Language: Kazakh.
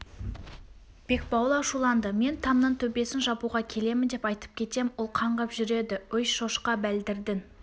бекбауыл ашуланды мен тамның төбесін жабуға келемін деп айтып кетем ол қаңғып жүреді өй шошқа бәлдірдің